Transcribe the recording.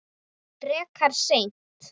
Frekar seint.